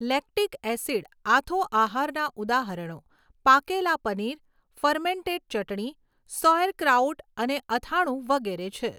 Lactic acid આથો આહારના ઉદાહરણો પાકેલા પનીર, ફર્મેન્ટેડ ચટણી, સૌઍરક્રાઉટ અને અથાણું વગેરે છે.